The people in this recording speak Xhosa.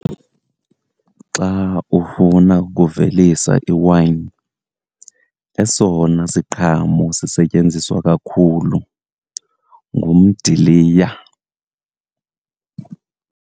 Xa ufuna ukuvelisa iwayini, esona siqhamo sisetyenziswa kakhulu ngumdiliya.